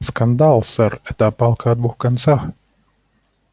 скандал сэр это палка о двух концах